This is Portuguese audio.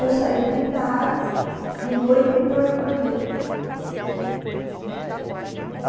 Eu saí de tarde, de noite entrou a irmã deles.